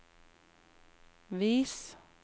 vis